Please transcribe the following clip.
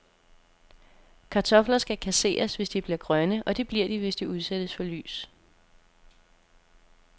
Kartofler skal kasseres, hvis de bliver grønne, og det bliver de, hvis de udsættes for lys.